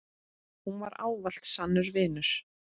Hún var ávallt sannur vinur.